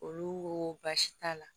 Olu ko baasi t'a la